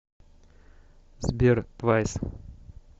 сбер твайс